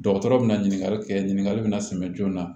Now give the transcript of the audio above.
Dɔgɔtɔrɔ bɛ na ɲininkali kɛ ɲininkali bɛna sɛbɛ joona